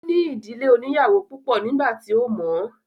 Ó ní ìdílé oníyàwó púpọ̀ nígbà tí ó mọ̀ ọ́n